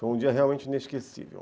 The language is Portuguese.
Foi um dia realmente inesquecível.